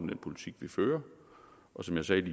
den politik vi fører og som jeg sagde